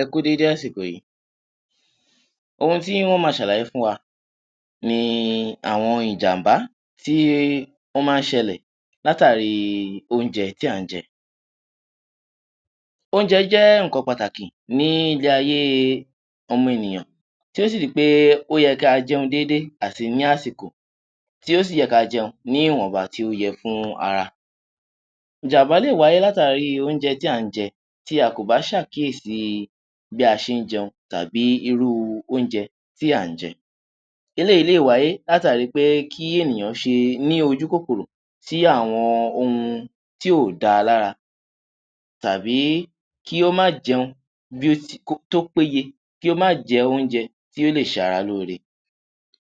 Ẹ kú u dédé àsìkò yìí, ohun tí ń ó máa ṣàlàyé fún wa, ni àwọn ìjàm̀bá, tí ó máa ń ṣẹlẹ̀, látàrí oúnjẹ tí à ń jẹ. Oúnjẹ jẹ́ nǹkan pàtàkì ní ilé-ayé ọmọ-ènìyàn, tí ó sì di pé ó yẹ kí a jẹun dédé àti ní àsìkò, tí ó sì yẹ ka jẹun ní ìwọ̀nba tí ó yẹ fún ara. Ìjàm̀bá lè wáyé látàri oúnjẹ tí à ń jẹ, tí a kò bá ṣàkíyèsi bí a ṣe ǹ jẹun, tàbí irú oúnjẹ tí à ń jẹ. Eléyìí lè wáyé látàri pé kí ènìyàn ṣe ní ojúkòkòrò sí àwọn ohun tí ò dáa lára, tàbí kí ó má jẹun bí ó ti kó tó péye, kí ó má jẹ oúnjẹ tí ó lè ṣara lóore.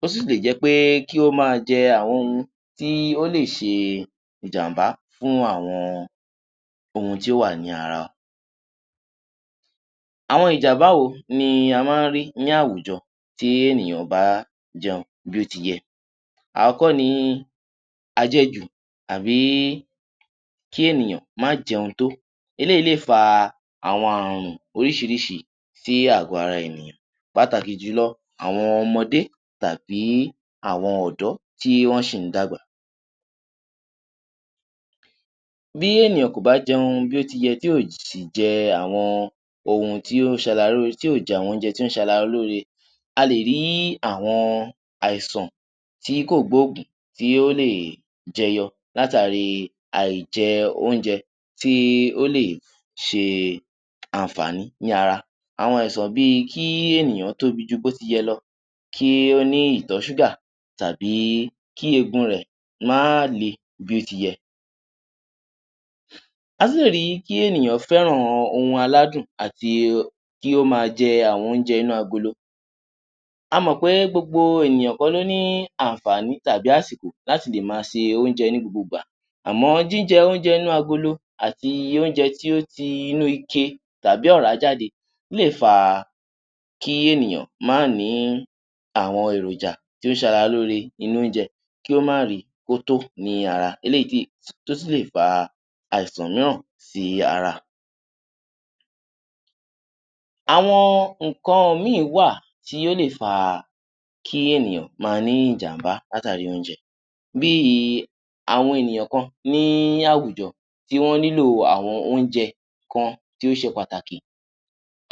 Ó sì lè jẹ́ pé kí ó máa jẹ àwọn ohun tí ó lè ṣe ìjàm̀bá fún àwọn ohun tí ó wà ní ara wa. Àwọn ìjàm̀bá wo ni a máa ń rí ní àwùjọ tí ènìyàn ò bá jẹun bí ó ti yẹ? Àọ́kọ́ ni àjẹjù àbí kí ènìyàn má jẹun tó. Eléyìí lè fa àwọn ààrùn oríṣiríṣi sí àgọ̀-ara ènìyàn. Pàtàkì jùlọ, àwọn ọmọde, tàbí àwọn ọ̀dọ́ tí wọ́n ṣì ń dàgbà. Bí ènìyàn kò bá jẹun bí ó ti yẹ, tí ò sì jẹ àwọn ohun tí ó ń ṣara lóore, tí ò jẹ àwọn oúnjẹ tí ó ń ṣara lóore. A lè rí àwọn àìsàn tí kò gbóògùn tí ó lè jẹyọ látàri àìjẹ oúnjẹ tí ó lè ṣe àǹfààní ní ara. Àwọn àìsàn bí i kí ènìyàn tóbi ju bó ti yẹ lọ, kí ó ní ìtọ̀-ṣúgà tàbí kí eegun rẹ̀ má le bí ó ti yẹ. A tún lè rí kí ènìyàn fẹ́ràn ohun aládùn àti kí ó máa jẹ àwọn oúnjẹ inú agolo. A mọ̀ pé gbogbo ènìyàn kọ́ ló ní àǹfààní tàbí àsìkò láti lè máa se oúnjẹ ní gbogbo ìgbà, àmọ́ jíjẹ oúnjẹ inú agolo, àti oúnjẹ tí ó ti inú ike tàbí ọ̀rá jáde lè fa kí ènìyàn má ní àwọn èròjà tí ó ṣara lóore nínú oúnjẹ, kí ó má ri kó tó ní ara, eléyìí tí, tó sì lè fa àìsàn mìíràn sí ara. Àwọn nǹkan mí ì wà tí ó lè fa kí ènìyàn máa ní ìjàm̀bá látàri oúnjẹ. Bí i àwọn ènìyàn kan ní àwùjọ tí wọ́n nílò àwọn oúnjẹ kan tí ó ṣe pàtàkì.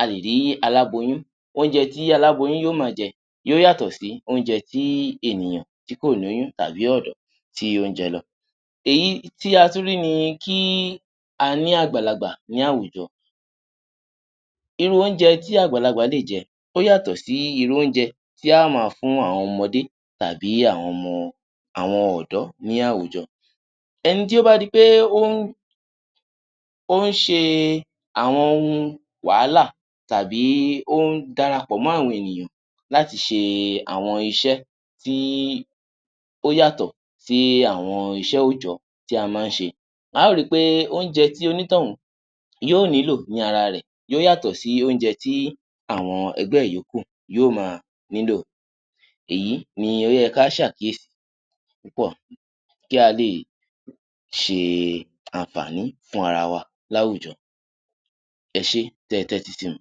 A lè rí aláboyún, oúnjẹ tí aláboyún yóò máa jẹ, yóó yàtọ̀ sí oúnjẹ tí ènìyàn tí kò lóyún tàbí ọ̀dọ́ tí ó ń jẹ lọ. Èyí tí a tún rí ni kí a ní àgbàlagbà ní àwùjọ, irú oúnjẹ tí àgbàlagbà lè jẹ, ó yàtọ̀ sí irú oúnjẹ tí a á máa fún àwọn ọmọdé, tàbí àwọn ọmọ, àwọn ọ̀dọ́ ní àwùjọ. Ẹni tí ó bá ri pé ó ń, ó ń ṣe àwọn ohun wàhálà, tàbí ó ń darapọ̀ mọ àwọn ènìyàn láti ṣe àwọn ịsẹ́ tí ó yàtọ̀ sí àwọn iṣẹ́ òòjọ́ tí a máa ń ṣe, a ó ri pé oúnjẹ tí onítọ̀hún yóò nílò ní ara rẹ̀ yóó yàtọ̀ sí oúnjẹ tí àwọn ẹgbẹ́ ẹ̀ yókù yóó máa nílò. Èyí ni ó yẹ ká ṣàkíyèsí púpọ̀ kí a lè ṣe àǹfààní fún ara wa láwùjọ. Ẹ ṣé tí ẹ tẹ́tí sí mi.